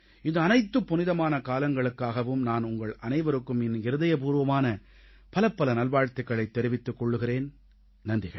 இந்த அனைத்து புனிதமான காலங்களுக்காகவும் நான் உங்கள் அனைவருக்கும் என் இருதயப்பூர்வமான பலப்பல நல்வாழ்த்துகளைத் தெரிவித்துக் கொள்கிறேன் நன்றிகள்